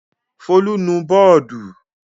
Folú nu bọ́ọ́dù!